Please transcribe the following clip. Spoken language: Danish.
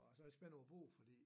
Og så jeg spændt over bogen fordi